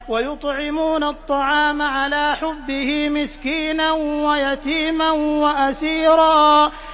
وَيُطْعِمُونَ الطَّعَامَ عَلَىٰ حُبِّهِ مِسْكِينًا وَيَتِيمًا وَأَسِيرًا